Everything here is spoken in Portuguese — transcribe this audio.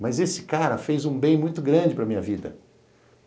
Mas esse cara fez um bem muito grande para minha vida.